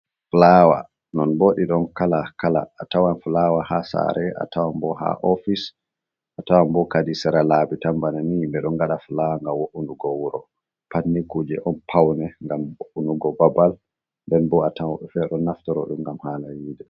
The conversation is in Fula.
Fulawa non bo ɗi ɗon kala kala a tawan fulawa ha sare, a tawan bo ha ofis, a tawan bo kadi sira labi tan bana ni, bi do gada fulawa nga wo’unugo wuro, pat ni kuje on paune ngam wo’unugo babal nɗen bo a tawan woɓɓe ɓeɗo naftoro ɗum gam hala yiɗe.